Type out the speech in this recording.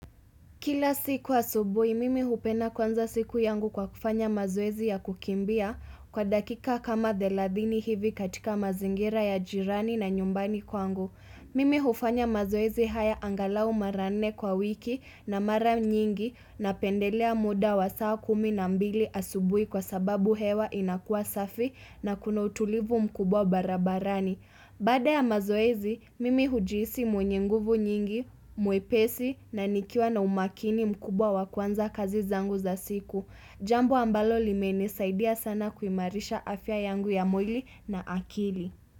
Kila siku asubuhi, mimi hupenda kuanza siku yangu kwa kufanya mazoezi ya kukimbia kwa dakika kama thelathini hivi katika mazingira ya jirani na nyumbani kwangu. Mimi hufanya mazoezi haya angalau mara nne kwa wiki na mara nyingi napendelea muda wa saa kumi na mbili asubuhi kwa sababu hewa inakuwa safi na kuna utulivu mkubwa barabarani. Baada ya mazoezi, mimi hujihisi mwenye nguvu nyingi, mwepesi na nikiwa na umakini mkubwa wa kuanza kazi zangu za siku. Jambo ambalo limenisaidia sana kuimarisha afya yangu ya mwili na akili.